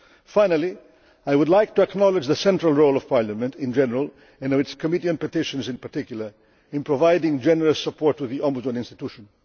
that. Finally, I would like to acknowledge the central role of Parliament in general, and its Committee on Petitions in particular, in providing generous support to the Ombudsman institution.